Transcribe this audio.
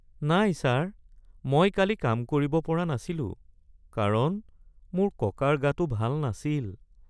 নাই ছাৰ, মই কালি কাম কৰিব পৰা নাছিলো কাৰণ মোৰ ককাৰ গাটো ভাল নাছিল